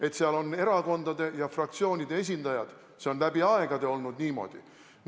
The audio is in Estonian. Et seal on erakondade ja fraktsioonide esindajad, see on läbi aegade niimoodi olnud.